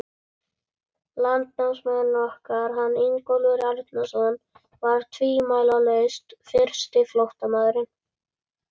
Landnámsmaðurinn okkar, hann Ingólfur Arnarson, var tvímælalaust fyrsti flóttamaðurinn.